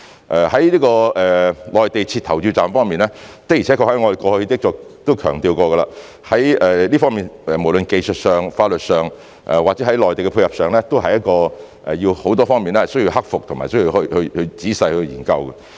至於在內地設立投票站方面，的而且確，我們過去亦曾強調，這方面無論在技術上、法律上或者在內地的配合上，都有很多方面需要克服和仔細研究。